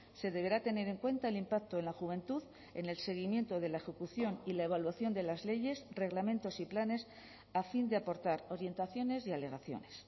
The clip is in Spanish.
se deberá tener en cuenta el impacto en la juventud en el seguimiento de la ejecución y la evaluación de las leyes reglamentos y planes a fin de aportar orientaciones y alegaciones